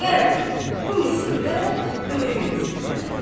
Qərəz, bu müsibət böyük müsibətdir.